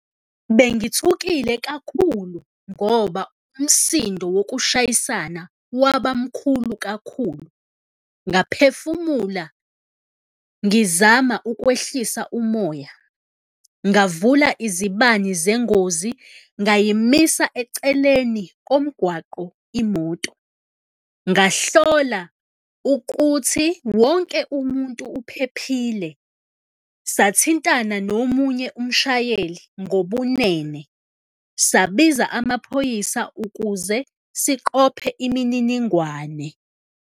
Bengithukile kakhulu ngoba umsindo wokushayisana waba mkhulu kakhulu, ngaphefumula ngizama ukwehlisa umoya, ngavula izibani zengozi, ngayimisa eceleni komgwaqo imoto, ngahlola ukuthi wonke umuntu uphephile, sathintana nomunye umshayeli ngobunene sabiza amaphoyisa ukuze siqophe imininingwane.